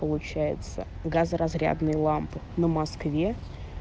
получается газоразрядные лампы на москве